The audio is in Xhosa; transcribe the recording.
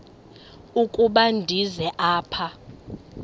ukuba ndize apha